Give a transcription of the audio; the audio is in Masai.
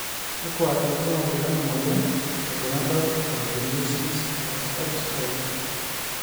kakua irbulabol lena moyian e Gonadal dysgenesis, XX type?